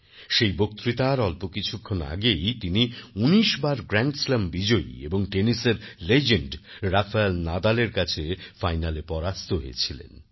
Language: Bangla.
সেই বক্তৃতার অল্প কিছুক্ষণ আগেই তিনি ১৯ বার গ্র্যান্ডস্ল্যাম বিজয়ী এবং টেনিসের লেজেন্ড রাফায়েল নাদালের কাছে ফাইনালে পরাস্ত হয়েছিলেন